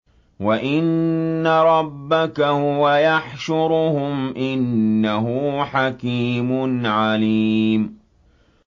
وَإِنَّ رَبَّكَ هُوَ يَحْشُرُهُمْ ۚ إِنَّهُ حَكِيمٌ عَلِيمٌ